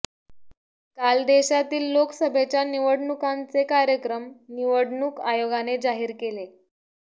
काल देशातील लोकसभेच्या निवडणुकांचे कार्यक्रम निवडणूक आयोगाने जाहीर केले